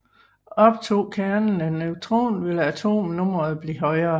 Optog kernen en neutron ville atomnummeret blive højere